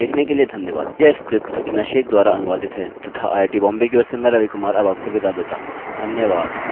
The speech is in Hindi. देखने के लिए धन्यवादयह स्क्रिप्ट सकीना शेख द्वारा अनुवादित है तथा आईआईटी बॉम्बे की ओर से मैं रवि कुमार आपसे विदा लेता हूँ धन्यवाद